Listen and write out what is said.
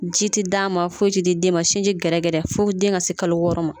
Ji tɛ d'a ma foyi tɛ di den ma sinji gɛrɛgɛrɛ fo den ka se kalo wɔɔrɔ ma